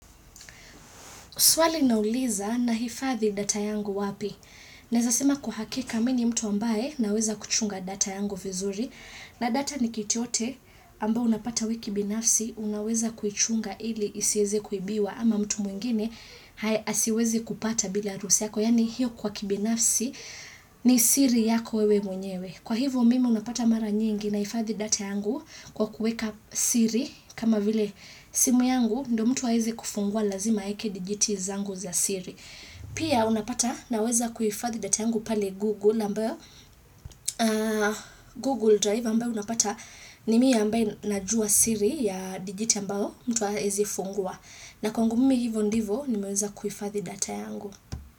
Swali linauliza na hifadhi data yangu wapi. Neza sema kwa hakika mini mtu ambaye naweza kuchunga data yangu vizuri. Na data ni kitu yote ambayo unapata wewe kibinafsi, unaweza kuichunga ili isieze kuibiwa ama mtu mwingine hae asiweze kupata bila ya ruhusa yako. Yani hiyo kwa kibinafsi ni siri yako wewe mwenyewe. Kwa hivo mimi unapata mara nyingi na hifadhi data yangu kwa kuweka siri kama vile simu yangu ndo mtu aeze kufungua lazima aeke digiti zangu za siri. Pia unapata na weza kuhifadhi data yangu pale google ambayo google drive ambayo unapata nimi ambaye na juwa siri ya digit ambayo mtu aezi funguwa. Na kwangu mimi hivo ndivo nimeweza kuhifadhi data yangu.